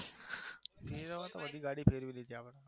ફેરવવામાં તો બધી ગાડી ફેરવી ચુક્યા